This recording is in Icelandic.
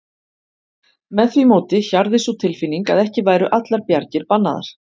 Með því móti hjarði sú tilfinning að ekki væru allar bjargir bannaðar.